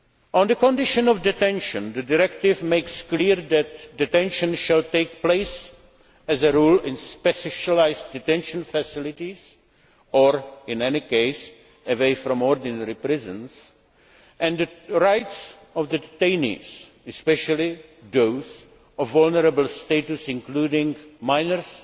On the conditions of detention, the directive makes clear that detention shall take place as a rule in specialised detention facilities or, in any case, away from ordinary prisoners and that the rights of the detainees especially those of vulnerable status including minors